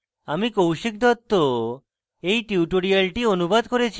আমি কৌশিক দত্ত এই টিউটোরিয়ালটি অনুবাদ করেছি